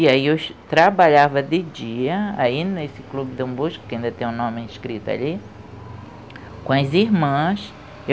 E aí eu trabalhava de dia aí nesse Clube Dombosco, que ainda tem o nome escrito ali, com as irmãs.